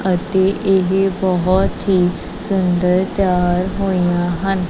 ਅਤੇ ਇਹ ਬਹੁਤ ਹੀ ਸੁੰਦਰ ਤਿਆਰ ਹੋਇਆ ਹਨ।